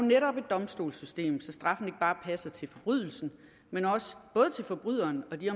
netop et domstolssystem så straffen ikke bare passer til forbrydelsen men også både til forbryderen og de